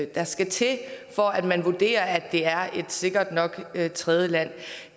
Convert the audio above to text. der skal til for at man vurderer at det er et sikkert nok tredjeland